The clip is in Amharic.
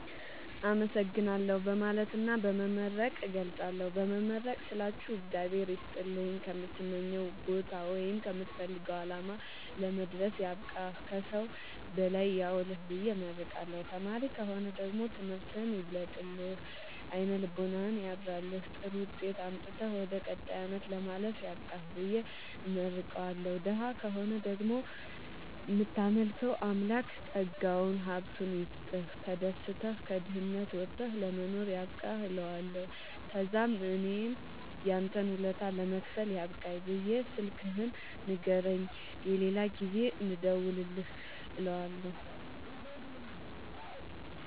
አመሠግናለሁ በማለትና በመመረቅ እገልፃለሁ። በመመረቅ ስላችሁ እግዚአብሄር ይስጥልኝ ከምትመኘዉ ቦታወይም ከምትፈልገዉ አላማ ለመድረስያብቃህ ከሠዉ በላይ ያዉልህብየ እመርቀዋለሁ። ተማሪ ከሆነ ደግሞ ትምህርትህን ይግለጥልህ አይነ ልቦናህን ያብራልህ ጥሩዉጤት አምጥተህ ወደ ቀጣይ አመት ለማለፍ ያብቃህ ብየ እመርቀዋለሁ። ደሀ ከሆነ ደግሞ እምታመልከዉ አምላክ ጠጋዉን ሀብቱይስጥህ ተደስተህ ከድህነት ወተህ ለመኖር ያብቃህእለዋለሁ። ተዛምእኔም ያንተን ወለታ ለመክፈል ያብቃኝ ብየ ስልክህን ንገረኝ የሌላ ጊዜ እንድደዉልልህ እለዋለሁ